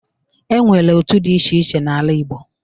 E nwere otu dị iche iche n'ala Igbo.